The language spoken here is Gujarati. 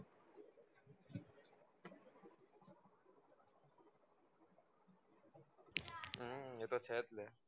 હમ એ તો છેજ ને